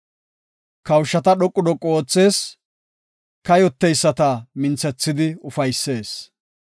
Kawushata dhoqu dhoqu oothees; kayoteyisata minthethidi ufaysees.